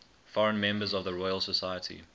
foreign members of the royal society